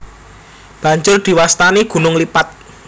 Banjur diwastani gunung lipat